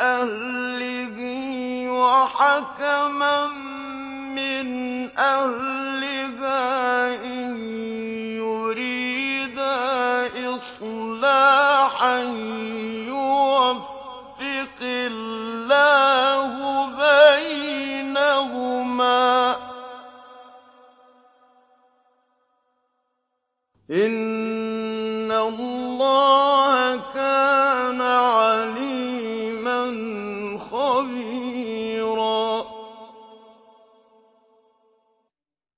أَهْلِهِ وَحَكَمًا مِّنْ أَهْلِهَا إِن يُرِيدَا إِصْلَاحًا يُوَفِّقِ اللَّهُ بَيْنَهُمَا ۗ إِنَّ اللَّهَ كَانَ عَلِيمًا خَبِيرًا